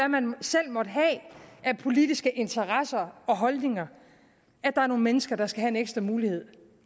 man selv måtte have af politiske interesser og holdninger at der er nogle mennesker der skal have en ekstra mulighed